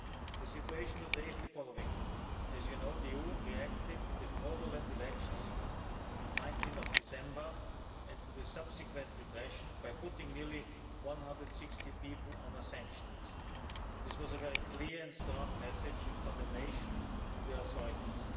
The situation today is as follows as you know, the EU reacted to the fraudulent elections of 19 December and to the subsequent repression by putting nearly 160 people on a sanction list. This was a very clear and strong message of condemnation to the authorities.